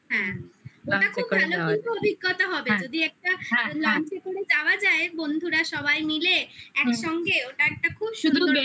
ওটা খুব ভালো কিন্তু অভিজ্ঞতা হবে যদি একটা lunch এ করে যাওয়া যায় বন্ধুরা সবাই মিলে একসঙ্গে ওটা একটা খুব সুন্দর